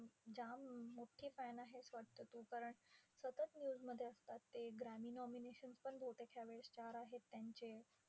जाम मोठी fan आहेस वाटतं तू. कारण सतत news मध्ये असतात ते. ग्रॅमी nominations पण बहुतेक यावेळी चार आहेत त्यांचे.